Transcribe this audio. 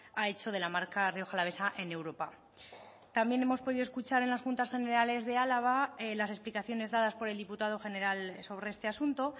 ha hecho de la marca rioja alavesa en europa también hemos podido escuchar en las juntas generales de álava las explicaciones dadas por el diputado general sobre este asunto